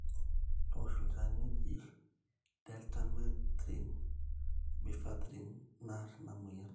toosho olchani oji Deltamethrin o Bifenthrin naar ina mweyian